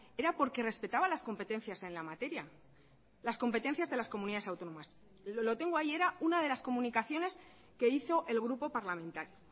era porque respetaba las competencias en la materia las competencias de las comunidades autónomas lo tengo ahí era una de las comunicaciones que hizo el grupo parlamentario